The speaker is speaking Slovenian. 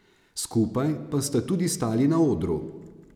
Skupaj pa sta tudi stali na odru.